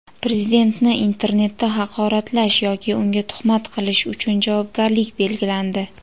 Prezidentni internetda haqoratlash yoki unga tuhmat qilish uchun javobgarlik belgilandi.